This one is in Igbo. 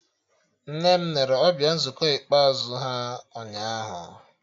Nne m nere ọbịa nzukọ ikpeazụ ha ụnyaahụ